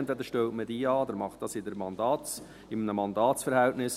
Entweder man stellt sie an oder macht es in einem Mandatsverhältnis.